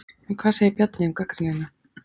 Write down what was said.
En hvað segir Bjarni um gagnrýnina?